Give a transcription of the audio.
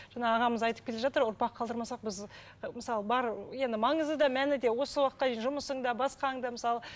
жаңа ағамыз айтып келе жатыр ұрпақ қалдырмасақ біз ы мысалы бар енді маңызы да мәні де осы уақытқа дейін жұмысың да басқаң да мысалы